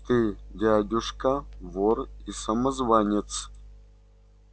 ты дядюшка вор и самозванец